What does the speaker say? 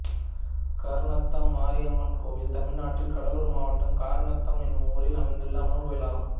கர்ணத்தம் மாரியம்மன் கோயில் தமிழ்நாட்டில் கடலூர் மாவட்டம் கர்ணத்தம் என்னும் ஊரில் அமைந்துள்ள அம்மன் கோயிலாகும்